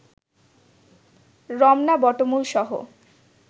Ramna বটমূলসহ